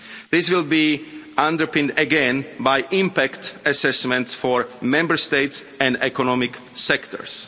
This will be underpinned again by impact assessments for Member States and economic sectors.